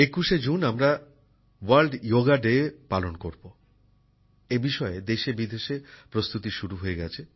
একুশে জুন আমরা আন্তর্জাতিক যোগ দিবস পালন করব এই বিষয়ে দেশেবিদেশে প্রস্তুতি শুরু হয়ে গেছে